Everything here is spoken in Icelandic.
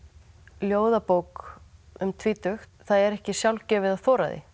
ljóðabók um tvítugt það er ekki sjálfgefið að þora það